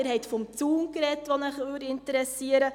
Sie haben vom Zaun gesprochen, der interessiert Sie.